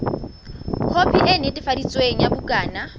khopi e netefaditsweng ya bukana